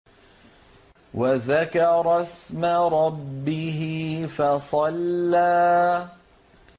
وَذَكَرَ اسْمَ رَبِّهِ فَصَلَّىٰ